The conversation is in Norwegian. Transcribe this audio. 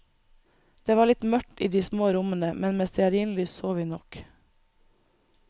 Det var litt mørkt i de små rommene, men med stearinlys så vi nok.